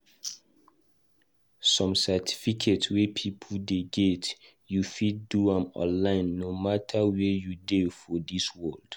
Some certificate wey people dey get, u fit do am online no matter where u dey for dis world.